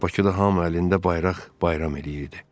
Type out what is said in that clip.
Bakıda hamı əlində bayraq bayram eləyirdi.